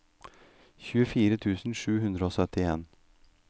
syttifire tusen sju hundre og syttien